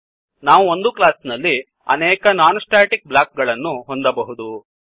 ನಾವು ಒಂದು ಕ್ಲಾಸಿನಲ್ಲಿ ಅನೇಕ ನಾನ್ ಸ್ಟ್ಯಾಟಿಕ್ ಬ್ಲಾಕ್ ಗಳನ್ನು ಹೊಂದಬಹುದು